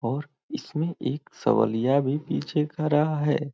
और इसमे एक सवलिया भी पीछे खड़ा है।